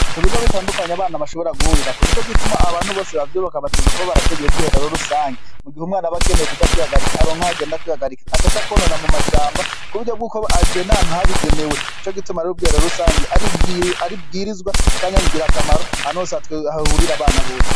Ku bigo bitandukanye abana bashobora guhurirako, nico gituma abantu bose bavyubaka bategerezwa kuba barateguye ubwiherero rusangi mu gihe umwana aba akeneye kuja kwihagarika aronke aho agenda kwihagarika ataja kwonona mu mashamba ku buryo bw'uko agenda ahantu habigenewe, nico gituma ari bwiherero rusange ari ibwirizwa canke ngirakamaro ahantu hose hahurira abana bose.